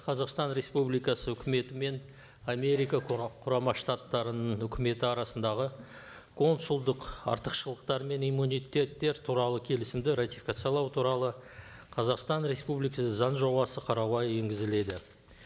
қазақстан республикасы өкіметі мен америка құрама штаттарының өкіметі арасындағы консулдық артықшылықтар мен иммунитеттер туралы келісімді ратификациялау туралы қазақстан республикасы заң жобасы қарауға енгізіледі